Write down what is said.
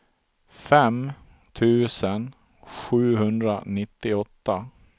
fem tusen sjuhundranittioåtta